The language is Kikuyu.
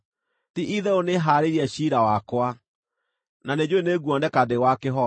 Ti-itherũ nĩhaarĩirie ciira wakwa, na nĩnjũũĩ nĩ nguoneka ndĩ wa kĩhooto.